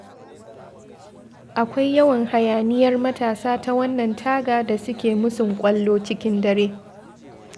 Akwai yawan hayaniyar matasa ta wannan taga da suke musun kwallo cikin dare.